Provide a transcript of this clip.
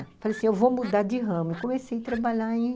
Falei assim, eu vou mudar de ramo e comecei a trabalhar em